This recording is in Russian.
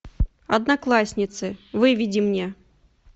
одноклассницы выведи мне